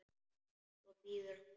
Svo bíður hann.